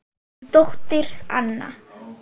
Þín dóttir Anna.